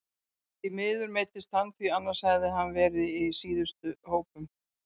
Því miður meiddist hann því annars hefði hann verið í síðustu hópum.